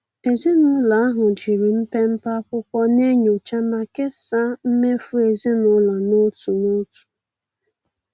Ezinụlọ ahụ jiri mpepe akwụkwọ na-enyocha ma kesaa mmefu ezinụlọ n'otu n'otu.